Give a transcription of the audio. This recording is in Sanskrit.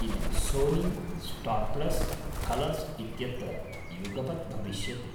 इदं सोनी, स्टार् प्लस्, कलर्स् इत्यत्र युगपत् भविष्यति।